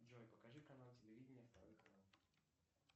джой покажи канал телевидения второй канал